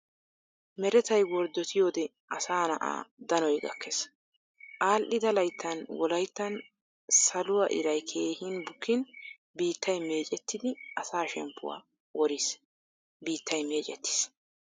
Merettay worddottiyode asaa na"aa danoy gakkees. Adhdhida layttan wolayttan saluwaa iray keehin bukkin biittay meccettidi asaa shemppuwaa worriis. Biittay meeccettiis.